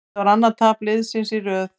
Þetta var annað tap liðsins í röð.